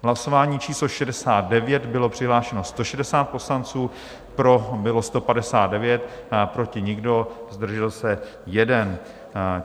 V hlasování číslo 69 bylo přihlášeno 160 poslanců, pro bylo 159, proti nikdo, zdržel se jeden.